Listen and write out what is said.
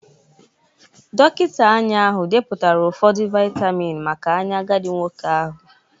Dọkịta anya ahụ depụtara ụfọdụ vitamin maka anya agadi nwoke ahụ